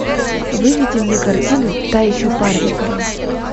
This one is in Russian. выведи мне картину та еще парочка